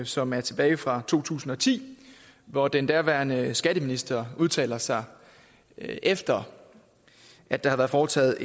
som er tilbage fra to tusind og ti hvor den daværende skatteminister udtaler sig efter at der var foretaget